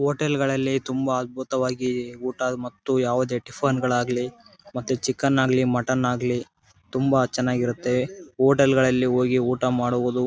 hotel ಗಳಲ್ಲಿ ತುಂಬಾ ಅದ್ಭುತವಾಗಿ ಊಟ ಮತ್ತು ಯಾವುದೇ ಟಿಫ್ಫಾನ್ ಗಳು ಆಗ್ಲಿ ಮತ್ತೆ ಚಿಕನ್ ಆಗ್ಲಿ ಮಟನ್ ಆಗ್ಲಿ ತುಂಬಾ ಚೆನ್ನಾಗಿ ಇರುತ್ತ ಹೋಟೆಲ್ ಗಳಲ್ಲಿ ಹೋಗಿ ಊಟ ಮಾಡುವುದು--